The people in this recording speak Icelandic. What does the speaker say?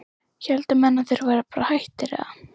héldu menn að þeir væru bara hættir eða?